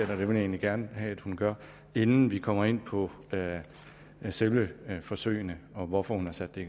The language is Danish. det vil jeg egentlig gerne have at hun gør inden vi kommer ind på selve forsøgene og hvorfor hun har sat det